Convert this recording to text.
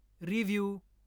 review